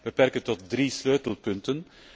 Ik zal mij beperken tot drie sleutelpunten.